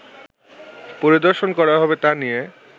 পরিদর্শন করা হবে তা নিয়ে